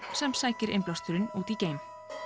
sem sækir innblásturinn út í geim